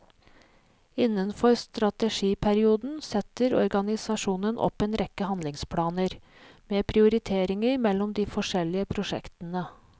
Innenfor strategiperioden setter organisasjonen opp en rekke handlingsplaner, med prioriteringer mellom de forskjellige prosjektene.